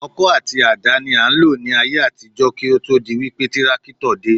Ọkọ́ àti àdá ni a ń lò ní ayé àtijọ́ kí ó tó di wípé tírákítọ̀ dé